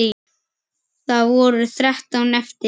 Það voru þrettán eftir!